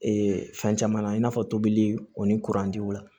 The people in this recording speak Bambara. Ee fɛn caman na i n'a fɔ tobili o ni kurantiw la